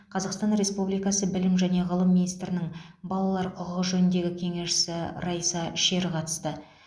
қазақстан республикасы білім және ғылым министрінің балалар құқығы жөніндегі кеңесшісі райса шер қатысты